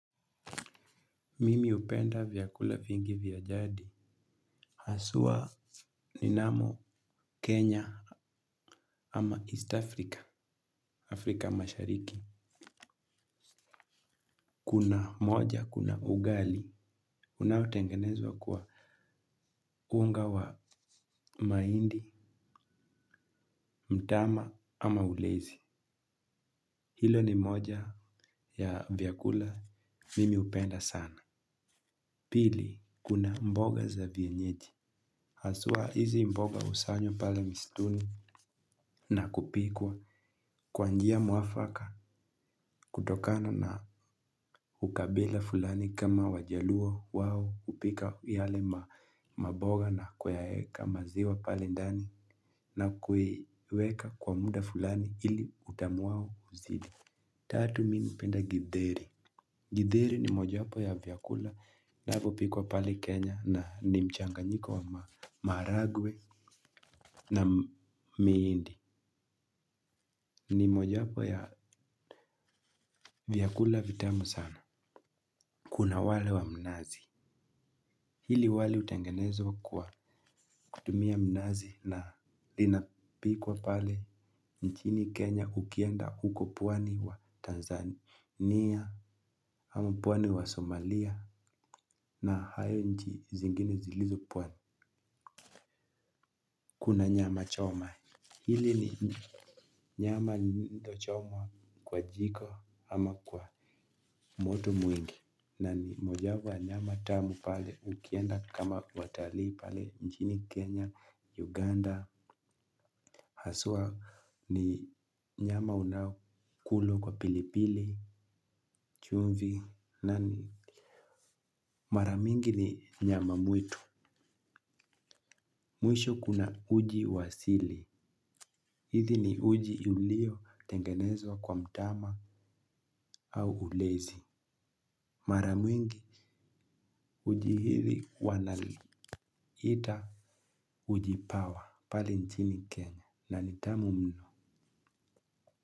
Mimi upenda vyakula vingi vya jadi. Haswa ni namo Kenya ama East Africa, Afrika mashariki. Kuna moja, kuna ugali. Unaotengenezwa kwa unga wa mahindi, mtama ama ulezi. Hilo ni moja ya vyakula mimi upenda sana. Pili, kuna mboga za vienyeji. Haswa hizi mboga usanywa pala mistuni na kupikwa. Kwa njia mwafaka kutokana na ukabila fulani kama wajaluo wawo upika yale maboga na kweka maziwa pale ndani na kuiweka kwa muda fulani ili utamu wao uzidi. Tatu mimi hupenda githeri. Githeri ni moja wapo ya vyakula vinavyopikwa pale Kenya na ni mchanga nyiko wa maharagwe na miindi. Ni moja wapo ya vyakula vitamu sana. Kuna wale wa mnazi. Hili wali utangenezwa kwa kutumia mnazi na linapikwa pale nchini Kenya ukienda huko pwani wa Tanzania ama pwani wa Somalia na hayo nchi zingine zilizo pwani. Kuna nyama choma. Hili ni nyama lililochaoma kwa jiko ama kwa moto mwingi. Nani moja wapo ya nyama tamu pale ukienda kama watali pale nchini Kenya Uganda. Haswa ni nyama unaokula kwa pilipili chumvi nani maramingi ni nyama mwitu. Mwisho kuna uji wa asili. Hithi ni uji ulio tengenezwa kwa mtama au ulezi. Maramingi uji hithi wanaliita Ujipawa, pale nchini Kenya, na ni tamu mno.